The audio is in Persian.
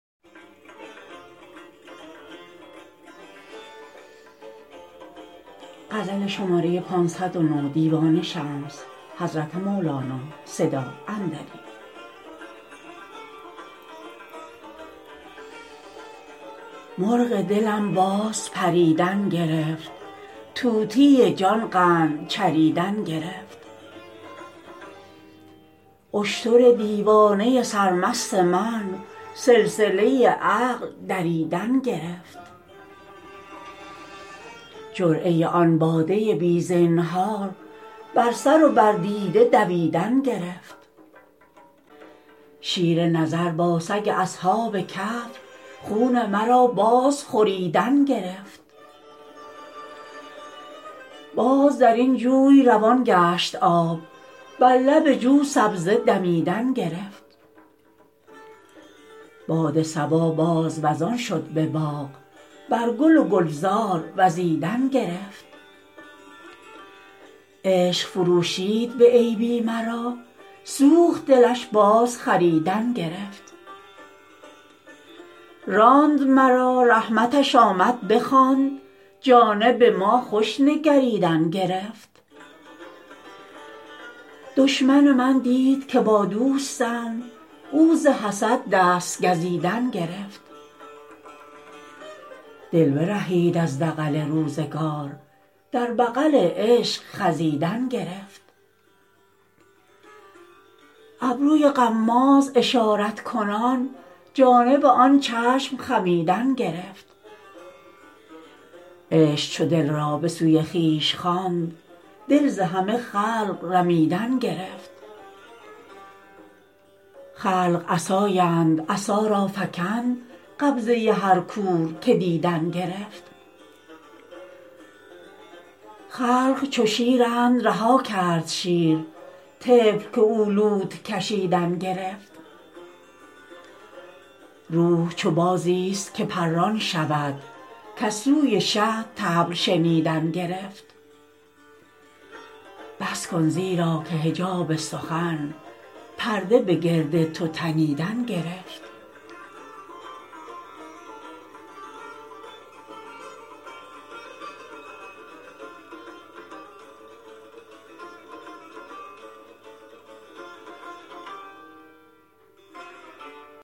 مرغ دلم باز پریدن گرفت طوطی جان قند چریدن گرفت اشتر دیوانه سرمست من سلسله عقل دریدن گرفت جرعه آن باده بی زینهار بر سر و بر دیده دویدن گرفت شیر نظر با سگ اصحاب کهف خون مرا باز خوریدن گرفت باز در این جوی روان گشت آب بر لب جو سبزه دمیدن گرفت باد صبا باز وزان شد به باغ بر گل و گلزار وزیدن گرفت عشق فروشید به عیبی مرا سوخت دلش بازخریدن گرفت راند مرا رحمتش آمد بخواند جانب ما خوش نگریدن گرفت دشمن من دید که با دوستم او ز حسد دست گزیدن گرفت دل برهید از دغل روزگار در بغل عشق خزیدن گرفت ابروی غماز اشارت کنان جانب آن چشم خمیدن گرفت عشق چو دل را به سوی خویش خواند دل ز همه خلق رمیدن گرفت خلق عصااند عصا را فکند قبضه هر کور که دیدن گرفت خلق چو شیرند رها کرد شیر طفل که او لوت کشیدن گرفت روح چو بازیست که پران شود کز سوی شه طبل شنیدن گرفت بس کن زیرا که حجاب سخن پرده به گرد تو تنیدن گرفت